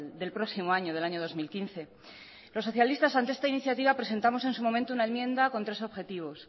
del próximo año del año dos mil quince los socialistas ante esta iniciativa presentamos en su momento una enmienda con tres objetivos